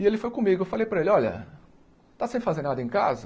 E ele foi comigo, eu falei para ele, olha, está sem fazer nada em casa?